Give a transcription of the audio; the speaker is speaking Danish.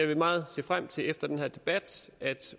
vil meget se frem til efter den her debat at